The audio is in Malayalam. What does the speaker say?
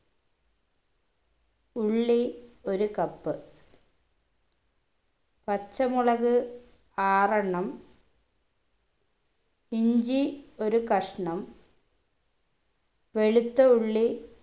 ഉള്ളി ഒരു cup പച്ചമുളക് ആറെണ്ണം ഇഞ്ചി ഒരു കഷ്ണം വെളുത്ത ഉള്ളി